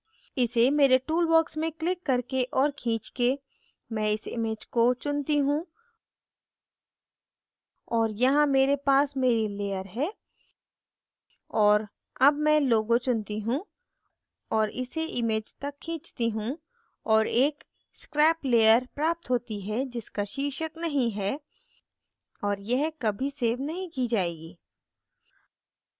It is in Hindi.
इसे मेरे tool box में क्लिक करके और खींचके मैं इस image को चुनती हूँ और यहाँ मेरे पास मेरी layer है और अब मैं logo चुनती हूँ और इसे इस image तक खींचती हूँ और एक scrap layer प्राप्त होती है जिसका शीर्षक नहीं है और यह कभी सेव नहीं की जाएगी